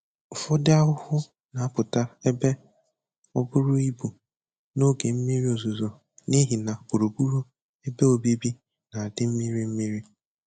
Ụfọdụ ahụhụ na-apụta ebe ọbụrụ ibu n'oge mmiri ozuzo n'ihi na gburugburu ebe obibi na-adị mmiri mmiri.